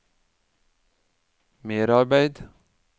merarbeid